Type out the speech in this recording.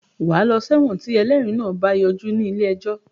Wàá lọ sẹ́wọ̀n tí ẹlẹ́rìí náà bá yọjú ní ilé ẹjọ́